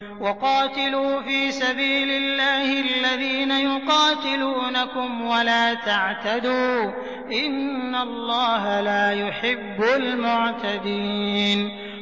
وَقَاتِلُوا فِي سَبِيلِ اللَّهِ الَّذِينَ يُقَاتِلُونَكُمْ وَلَا تَعْتَدُوا ۚ إِنَّ اللَّهَ لَا يُحِبُّ الْمُعْتَدِينَ